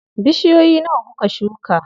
Bishiyoyi nawa kuka shuka?